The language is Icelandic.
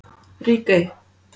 Ríkey